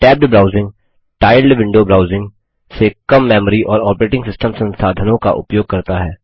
tabbed browsing tiled window browsing से कम memory और ऑपरेटिंग सिस्टम संसाधनों का उपयोग करता है